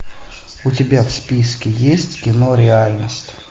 у тебя в списке есть кино реальность